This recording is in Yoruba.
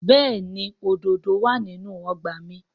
Bẹ́ẹ̀ni òdòdó wà nínú ọgbà mi